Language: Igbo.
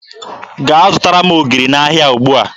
Gaa zụtara m ogiri n'ahịa ugbua!